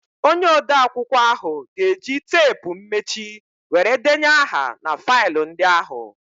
Onye odeakwụkwọ ahụ ga-eji teepu mmechi were denye aha na faịlụ ndị ahụ.